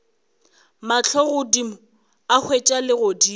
mahlo godimo a hwetša legodimo